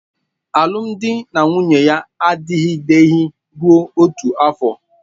Alụmdi na nwunye ya adịgideghị rụọ otu afọ